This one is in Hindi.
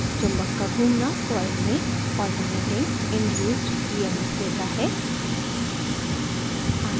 चुम्बक का घूमना coil में alternating induced emf देता है